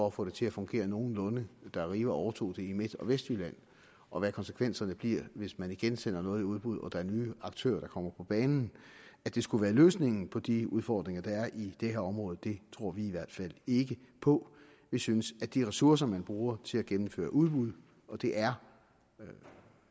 at få det til at fungere nogenlunde da arriva overtog det i midt og vestjylland og hvad konsekvenserne bliver hvis man igen sender noget i udbud og der er nye aktører der kommer på banen at det skulle være løsningen på de udfordringer der er i det her område tror vi i hvert fald ikke på vi synes at de ressourcer man bruger til at gennemføre udbud og det er